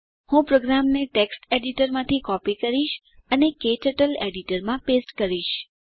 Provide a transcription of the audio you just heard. હું પ્રોગ્રામને ટેક્સ્ટ એડીટરમાંથી કોપી કરીશ અને તેને ક્ટર્ટલ એડીટરમાં પેસ્ટ કરીશ